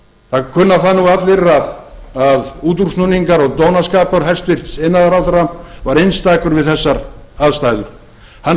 það kunna það nú allir að útúrsnúningar og dónaskapur hæstvirtur iðnaðarráðherra var einstakur við þessar aðstæður hann